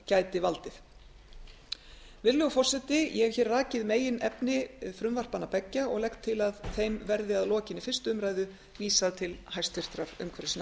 gæti valdið virðulegur forseti ég hef hér rakið meginefni frumvarpanna beggja og legg til að þeim verði að lokinni fyrstu umræðu vísað til hæstvirtrar umhverfisnefndar